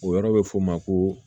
O yɔrɔ bɛ fɔ o ma ko